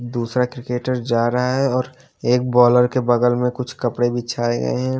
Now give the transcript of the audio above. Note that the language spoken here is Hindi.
दूसरा क्रिकेटर जा रहा है और एक बॉलर के बगल में कुछ कपड़े भी बिछाए गए हैं।